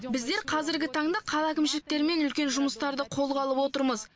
біздер қазіргі таңда қала әкімшіліктерімен үлкен жұмыстарды қолға алып отырмыз